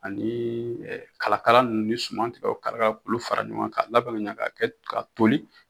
Ani kalakala ninnu ni suman tigɛ o kalakala k'olu fara ɲɔgɔn k'a labɛn ka ɲa ka kɛ ka toli.